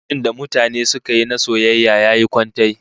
Fim din da mutanen suka yi na soyayya yayi kwantai